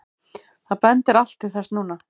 Það bendir allt til þess núna.